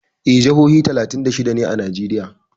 Eh, jihohi talatin da shida ne a Najeriya.